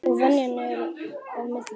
Og venjan er á milli.